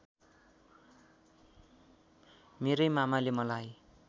मेरै मामाले मलाई